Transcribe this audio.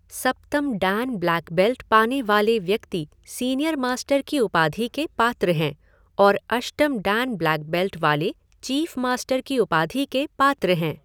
सप्तम dan black belt पाने वाले व्यक्ति सीनियर मास्टर की उपाधि के पात्र हैं और अष्टम डैन ब्लैक बेल्ट वाले चीफ़ मास्टर की उपाधि के पात्र हैं।